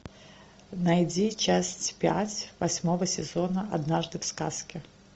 найди часть пять восьмого сезона однажды в сказке